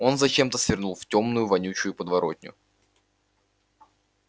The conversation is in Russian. он зачем-то свернул в тёмную вонючую подворотню